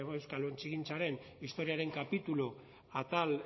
euskal ontzigintzaren historiaren kapitulu atal